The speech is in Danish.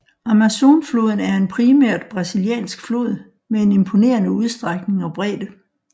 Amazonfloden er en primært brasiliansk flod med en imponerende udstrækning og bredde